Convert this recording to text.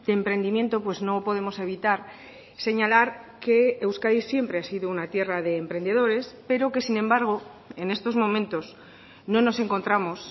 emprendimiento pues no podemos evitar señalar que euskadi siempre ha sido una tierra de emprendedores pero que sin embargo en estos momentos no nos encontramos